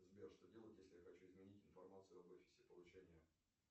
сбер что делать если я хочу изменить информацию об офисе получения